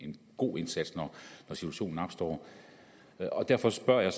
god indsats når situationen opstår derfor spørger jeg